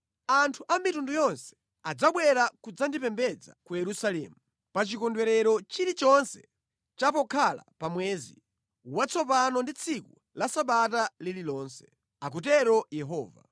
“Anthu a mitundu yonse adzabwera kudzandipembedza ku Yerusalemu, pa chikondwerero chilichonse cha pokhala pa mwezi watsopano ndi tsiku la Sabata lililonse,” akutero Yehova.